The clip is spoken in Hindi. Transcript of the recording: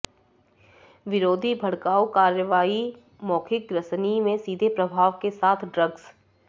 विरोधी भड़काऊ कार्रवाई मौखिक ग्रसनी में सीधे प्रभाव के साथ ड्रग्स